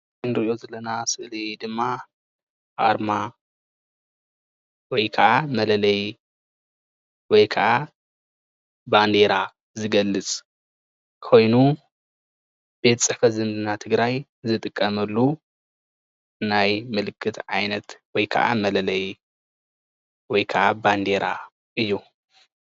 እዚ እንሪኦ ዘለና ስእሊ ድማ ኣርማ ወይ ከዓ መለለይ ወይ ከዓ ባንዴራ ዝገልፅ ኮይኑ ቤት ፅሕፈት ዝምድናታት ትግራይ ዝጥቀመሉ ናይ ምልክት ዓይነት ወይ ከዓ መለለይ ወይ ከዓ በንዴራ እዩ፡፡